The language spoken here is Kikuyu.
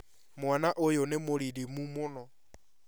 Mwana ũyũ nĩ mũririmu mũno